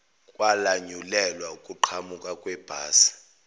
kwalanyulelwa ukuqhamuka kwebhasi